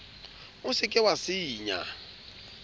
o se ke wa senya